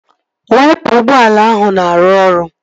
Waipa ụgbọala ahụ na-arụ ọrụ